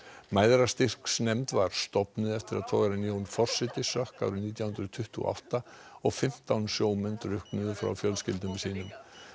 Mæðrastyrksnefnd var stofnuð eftir að togarinn Jón forseti sökk árið nítján hundruð tuttugu og átta og fimmtán sjómenn drukknuðu frá fjölskyldum sínum